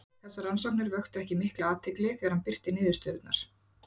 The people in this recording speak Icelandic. Þessar rannsóknir vöktu ekki mikla athygli þegar hann birti niðurstöðurnar.